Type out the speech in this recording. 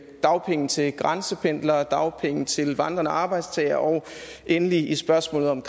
dagpenge til grænsependlere og dagpenge til vandrende arbejdstagere og endelig i spørgsmålet om